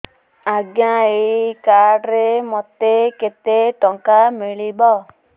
ଆଜ୍ଞା ଏଇ କାର୍ଡ ରେ ମୋତେ କେତେ ଟଙ୍କା ମିଳିବ